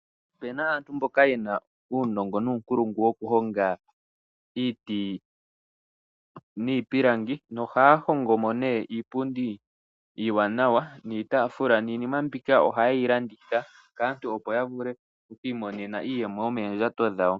Opuna aantu mboka yena uunongo nuunkulungu woku honga iiti niipilangi, nohaya hongo mo nee iipundi iiwaanawa niitaafula, niinima mbika ohaye yi landitha kaantu, opo ya vule oku imonena iiyemo yomoondjato dhawo.